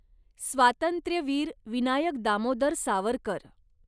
Swatantryaveer Vinayak Damodar Savarkar